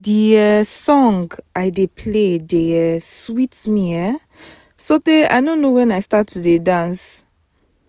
the um song i dey play dey um sweet me um so tey i no know wen i start to dey dance